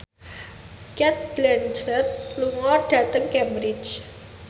Cate Blanchett lunga dhateng Cambridge